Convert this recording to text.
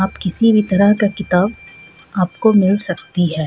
आप किसी भी तरह का किताब आपको मिल सकती हे.